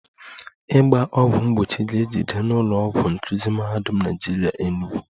Ịgba ọgwụ mgbochi ga-ejide n'ụlọ ọgwụ nkuzi Mahadum Naịjirịa Enugu